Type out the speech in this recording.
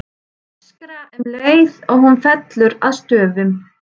Öskra um leið og hún fellur að stöfum.